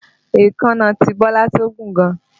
Èékánná tí Bọ́lá tọ́ gùn gan